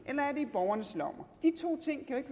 borgernes lommer de to ting kan